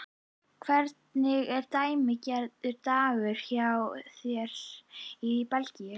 Hvernig er dæmigerður dagur hjá þér hér í Belgíu?